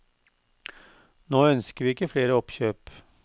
Nå ønsker vi ikke flere oppkjøp.